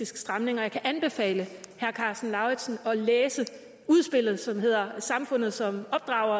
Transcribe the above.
stramning og jeg kan anbefale herre karsten lauritzen at læse udspillet som hedder samfundet som opdrager